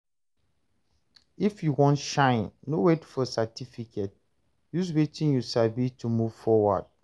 If you want shine, no wait for certificate; use wetin you sabi to move forward.